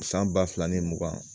San ba fila ni mugan